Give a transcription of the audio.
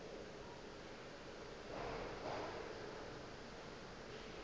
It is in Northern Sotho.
ge go le bjalo o